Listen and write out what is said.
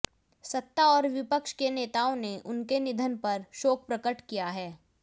सत्ता और विपक्ष के नेताओं ने उनके निधन पर शोक प्रकट किया है